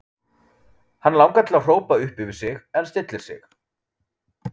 Hann langar til að hrópa upp yfir sig en stillir sig.